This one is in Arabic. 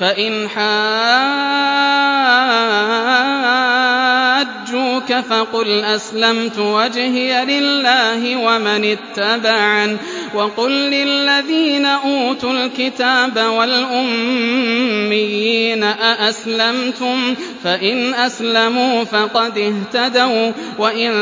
فَإِنْ حَاجُّوكَ فَقُلْ أَسْلَمْتُ وَجْهِيَ لِلَّهِ وَمَنِ اتَّبَعَنِ ۗ وَقُل لِّلَّذِينَ أُوتُوا الْكِتَابَ وَالْأُمِّيِّينَ أَأَسْلَمْتُمْ ۚ فَإِنْ أَسْلَمُوا فَقَدِ اهْتَدَوا ۖ وَّإِن